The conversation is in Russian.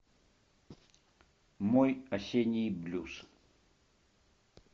мой осенний блюз